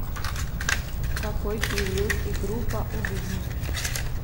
какой период и группа у дубний